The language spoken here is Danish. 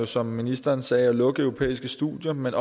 som ministeren sagde at lukke europæiske studier men